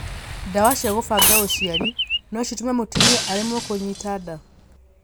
Ndawa cia gũbanga ũciari no citũme mũtumia aremwo kunyita nda?